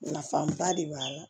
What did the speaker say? Nafaba de b'a la